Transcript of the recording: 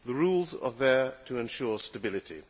The rules are there to ensure stability.